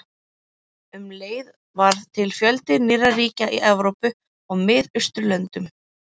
Um leið varð til fjöldi nýrra ríkja í Evrópu og Miðausturlöndum.